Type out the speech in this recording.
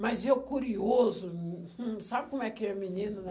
Mas eu curioso, hm, sabe como é que é menino, né?